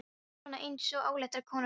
Þú veist, svona eins og óléttar konur fá.